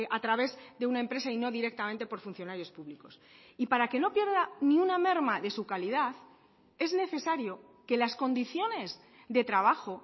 a través de una empresa y no directamente por funcionarios públicos y para que no pierda ni una merma de su calidad es necesario que las condiciones de trabajo